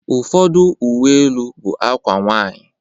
Ụfọdụ Uwe elu bụ akwa nwanyị